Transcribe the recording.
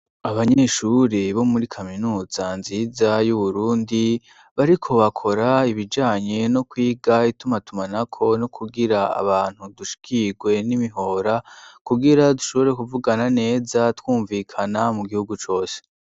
Abanyeshure bo muri kaminuza nziza y'Uburundi bariko bakora ibijanye no kwiga itumatumanako no kugira abantu dushikirwe n'imihora kugira dushobore kuvugana neza twumvikana mu gihugu cose.